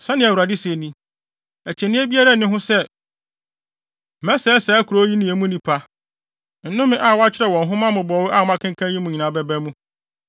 ‘Sɛnea Awurade se ni: Akyinnye biara nni ho sɛ, mɛsɛe saa kurow yi ne emu nnipa. Nnome a wɔakyerɛw wɔ nhoma mmobɔwee a moakenkan yi mu nyinaa bɛba mu.